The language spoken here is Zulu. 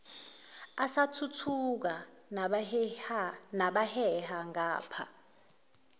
asathuthuka nabaheha ngapha